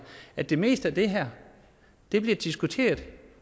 at det meste af det her bliver diskuteret